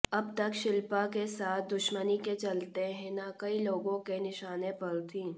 अब तक शिल्पा के साथ दुश्मनी के चलते हिना कई लोगों के निशाने पर थीं